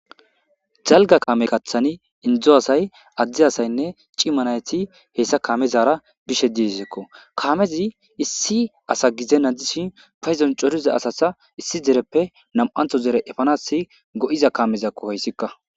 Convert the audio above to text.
Dalga kame kaththani indezo asay adde asaynne cima nayti he saa kaamezara bishe deessikko. Kamezi issi asa gizena dishin paydon coriza asa issi dereppe nam'antho dere efanas go'iza kaamezakko ha izika.